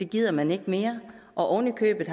gider man ikke mere oven i købet